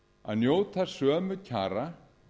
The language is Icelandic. að njóta sömu kjara